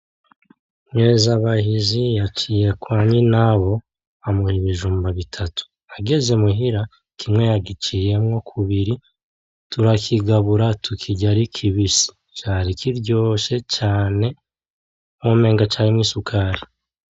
Nkezabahizi yaciye kwa nyinabo amuha ibijumbu bitatu ageze imuhira kimwe yagiciyemwo kubiri ,turakigabura tukirya ari kibisi cari kiryoshe cane umenga carimwo isukari.